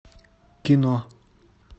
кино